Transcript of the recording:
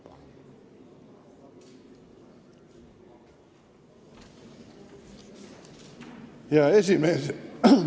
Hea esimees!